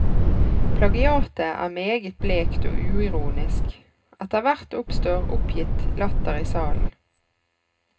Plagiatet er meget blekt og uironisk, etterhvert oppstår oppgitt latter i salen.